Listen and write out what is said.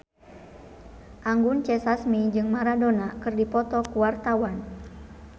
Anggun C. Sasmi jeung Maradona keur dipoto ku wartawan